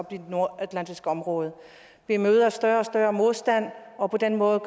i det nordatlantiske område vi møder større og større modstand og på den måde